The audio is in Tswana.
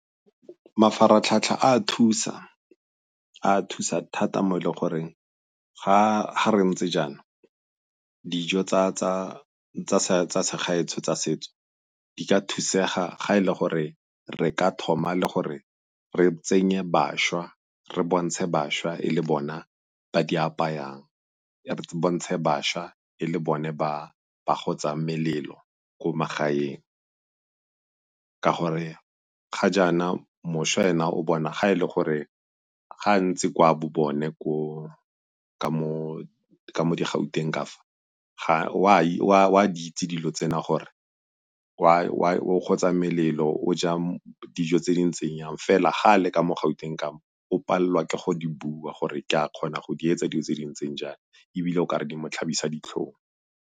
Mafaratlhatlha a thusa, a thusa thata mo e le goreng ga re ntse jaana dijo tsa segaetsho tsa setso di ka thusega ga e le gore re ka thoma le gore re tsenye bašwa, re bontshe bašwa e le bona ba di apayang, re bontshe bašwa e le bone ba ba gotsang melelo ko magaeng. Ka gore ga jaana mošwa ena o bona ga e le gore ga a ntse kwa bo bone ka mo di-Gauteng kafa o a di itse dilo tsena gore o gotsa melelo, o ja dijo tse di ntseng yang. Fela ga a le ka mo Gauteng ka mo o palelwa ke go di bua gore ke a kgona go di etsa dilo tse di ntseng jaana ebile o ka re di mo tlhabisa ditlhong.